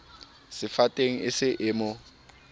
sefateng e se e mo